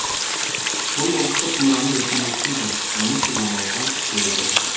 бұл ұлттық мұраны өркендетпейді оны сыйламауға үйретеді